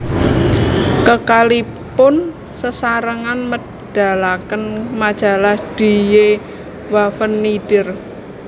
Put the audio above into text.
Kekalihipun sesarengan medalaken majalah Die Waffen nieder